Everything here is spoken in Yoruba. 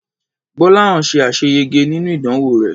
Gbọ́láhàn ṣe àṣeyege nínú ìdánwò rẹ̀.